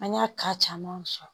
An y'a ka caman sɔrɔ